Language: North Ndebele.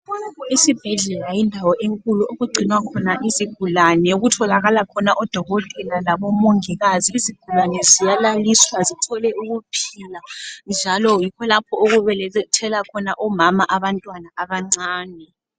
Isibhedlela yindawo enkulu okugcinwa khona izigulani, okutholakala khona odokotela labomongikazi. Izigulani ziyalaliswa zithole ukuphila njalo yikho lapho okubelethela khona omama abantwana abancane.